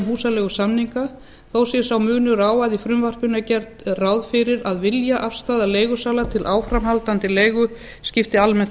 um húsaleigusamninga þó sé sá munur á að í frumvarpinu er gert ráð fyrir að viljaafstaða leigusala til áframhaldandi leigu skipti almennt